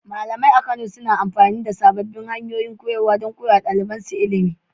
Malamai a Kano suna amfani da sabbin hanyoyin koyarwa don koyar da ɗalibansu ilimi.